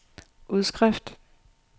udskrift